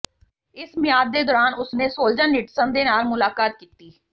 ਇਸ ਮਿਆਦ ਦੇ ਦੌਰਾਨ ਉਸ ਨੇ ਸੋਲਜਾਨੀਟਸਨ ਦੇ ਨਾਲ ਮੁਲਾਕਾਤ ਕੀਤੀ